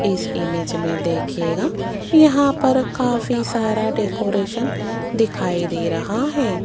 इस ईमेज में देखिएगा यहां पर काफी सारा डेकोरेशन दिखाई दे रहा है।